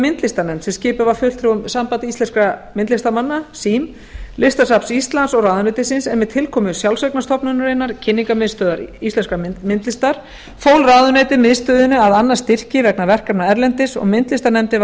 ráðgjafar myndlistarnefnd sem skipuð var fulltrúum sambands íslenskra myndlistarmanna sýn listasafns íslands og ráðuneytisins en með tilkomu sjálfseignarstofnunarinnar kynningarmiðstöðvar íslenskrar myndlistar fól ráðuneytið miðstöðinni að annast styrki vegna verkefna erlendis og myndlistarnefndin var